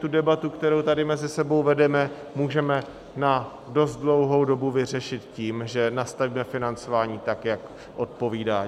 Tu debatu, kterou tady mezi sebou vedeme, můžeme na dost dlouhou dobu vyřešit tím, že nastavíme financování tak, jak odpovídá.